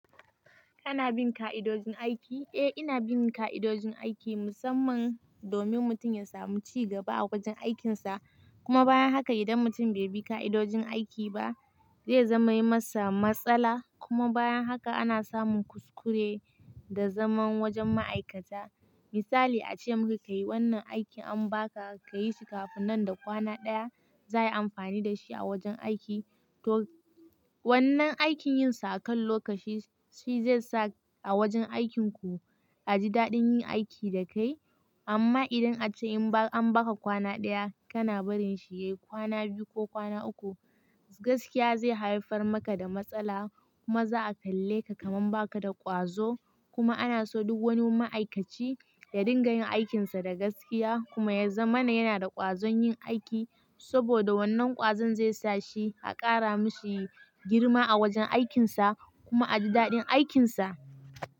Kana bin ka'idojin aiki? Eh ina bin ka'idojin aiki musamman domin mutum ya samu cigaba a wajen aikinsa. Kuma bayan haka idan mutum bai bi ka'idojin aiki ba zai zama yi masa matsala. Kuma bayan haka ana samun kuskure da zaman wajen ma'aikata. Misali a ce maka kayi wannan aikin an baka ka yi shi kafin nan da kwana ɗaya, za ayi amfani da shi a wajen aiki. To wannan aikin yin sa akan lokaci shi zai sa a wajen aikinku a ji daɗin yin aiki da kai. Amma idan a ce in an baka kwana ɗaya kana barin shi yayi kwana biyu ko kwana uku, gaskiya zai haifar maka da matsala kuma za a kalleka kaman baka da ƙwazo. Kuma ana so duk wani ma'aikaci ya dinga yin aikinsa da gaskiya kuma ya zama yana da ƙwazon yin aiki saboda wannan ƙwazon zai sa shi a ƙara mishi girma a wajen aikinsa kuma a ji daɗin aikinsa.